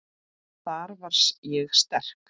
Þar var ég sterk.